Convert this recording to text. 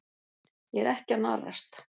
Ég er ekki að narrast.